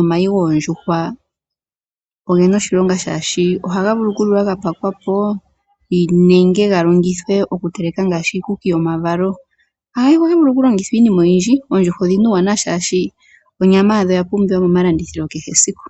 Omayi goondjuhwa ogena oshilonga oshka ohaga vulu okuliwa ga telekwa nenge ga longithwe oku teleka ngaashi iikuku yomavalo, ohadhi vulu woo okulongithwaiinimaoyindji. Oondjuhwa odhina uuwanawa oshoka onyama yadho oya pumbiwa momalandithilo kehe esiku.